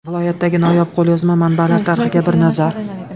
Viloyatdagi noyob qo‘lyozma manbalar tarixiga bir nazar.